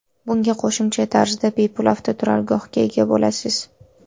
Bunga qo‘shimcha tarzda bepul avtoturargohga ega bo‘lasiz.